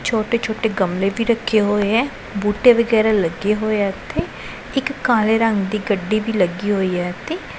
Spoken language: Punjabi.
ਛੋਟੇ ਛੋਟੇ ਗਮਲੇ ਵੀ ਰੱਖੇ ਹੋਏ ਐ ਬੂਟੇ ਵਗੈਰਾ ਲੱਗੇ ਹੋਏ ਆ ਇੱਥੇ ਇੱਕ ਕਾਲੇ ਰੰਗ ਦੀ ਗੱਡੀ ਵੀ ਲੱਗੀ ਹੋਈ ਹੈ ਇੱਥੇ।